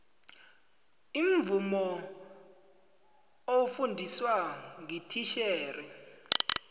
imvumo ofundiswa ngititjhere